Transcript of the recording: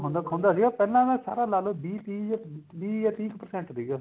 ਹੁੰਦਾ ਸੀਗਾ ਪਹਿਲਾ ਨਾ ਸਰਾ ਲਾਲੋ ਵੀਹ ਤੀਹ ਜਾ ਵੀਹ ਜਾਂ ਤੀਹ percent ਸੀਗਾ